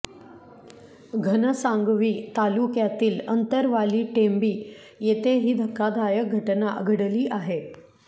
घनसांगवी तालुक्यातील अंतरवाली टेंभी येथे ही धक्कादायक घटना घडली आहे